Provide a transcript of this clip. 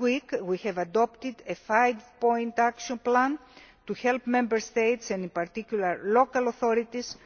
Last week we adopted a five point action plan to help Member States and in particular local authorities